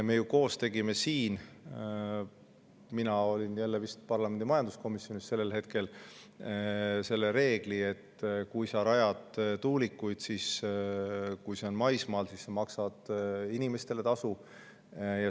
Me koos tegime siin – mina olin vist parlamendi majanduskomisjonis sellel hetkel – selle reegli, et kui sa rajad maismaale tuulikuid, siis sa maksad inimestele ja ka omavalitsusele tasu.